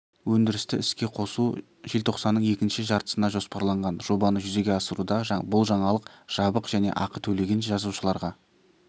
өндірісті іске қосу желтоқсанның екінші жартысына жоспарланған жобаны жүзеге асыруда бұл жаңалық жабық және ақы төлеген жазылушыларға